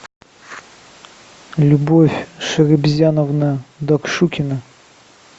любовь шарибзяновна докшукина